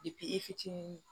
i fitinin